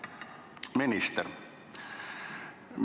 Hea minister!